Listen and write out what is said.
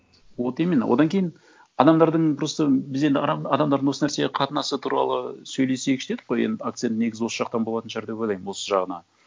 вот именно одан кейін адамдардың просто біз енді адамдардың осы нәрсеге қатынасы туралы сөйлесейікші дедік қой енді акцент негізі осы жақтан болатын шығар деп ойлаймын осы жағынан